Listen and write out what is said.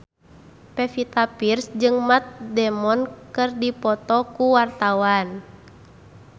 Pevita Pearce jeung Matt Damon keur dipoto ku wartawan